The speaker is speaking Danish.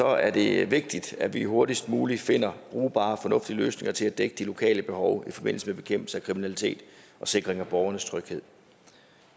er det vigtigt at vi hurtigst muligt finder brugbare og fornuftige løsninger til at dække de lokale behov i forbindelse med bekæmpelse af kriminalitet og sikring af borgernes tryghed